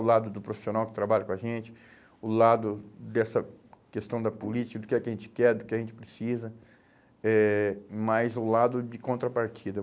O lado do profissional que trabalha com a gente, o lado dessa questão da política, do que é que a gente quer, do que a gente precisa, eh mais o lado de contrapartida.